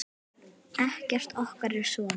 Ekkert okkar er svona.